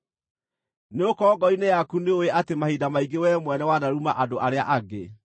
nĩgũkorwo ngoro-inĩ yaku nĩũũĩ atĩ mahinda maingĩ wee mwene wanaruma andũ arĩa angĩ.